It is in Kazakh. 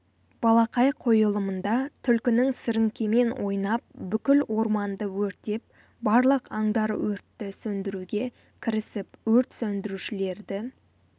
балақай қойылымында түлкінің сіріңкемен ойнап бүкіл орманды өртеп барлық аңдар өртті сөндіруге кірісіп өрт сөндірушілерді